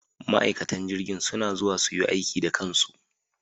Ma'aikatan jirgin suna zuwa su yi aiki da kansu.